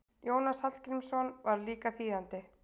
Jónas Hallgrímsson var líka þýðandi.